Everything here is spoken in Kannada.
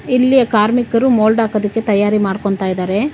ಇಲ್ಲಿ ಕಾರ್ಮಿಕರು ಮೊಲ್ಡ್ ಆಕೋದಕ್ಕೆ ತಯಾರಿ ಮಾಡ್ಕೊಂತ ಇದಾರೆ.